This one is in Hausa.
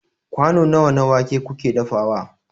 kwano nawa na wake kuke dafawa